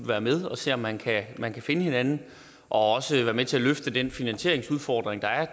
være med og se om man kan man kan finde hinanden og også være med til at løfte den finansieringsudfordring der er